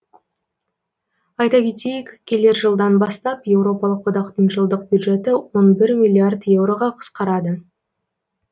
айта кетейік келер жылдан бастап еуропалық одақтың жылдық бюджеті он бір миллиард еуроға қысқарады